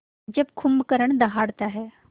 जब कुंभकर्ण दहाड़ता है